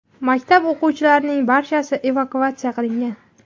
Maktab o‘quvchilarining barchasi evakuatsiya qilingan.